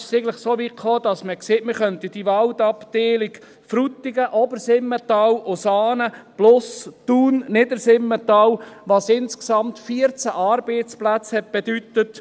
Es kam so weit, dass man sagte, man könne die Waldabteilungen Frutigen, Obersimmental/Saanen sowie Thun/Niedersimmental in dieses Schloss Wimmis zügeln, was insgesamt 14 Arbeitsplätze bedeutete.